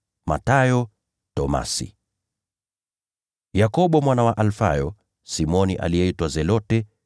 Mathayo, Tomaso, Yakobo mwana wa Alfayo, Simoni aliyeitwa Zelote,